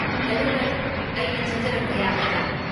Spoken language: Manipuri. ꯍꯦꯂꯣ ꯃꯦꯝ, ꯑꯩ ꯆꯪꯖꯔꯛꯄ ꯌꯥꯒꯗ꯭ꯔꯥ?